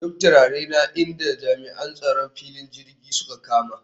Duk turarena inda jami'an tsaron filin jirgin suka kama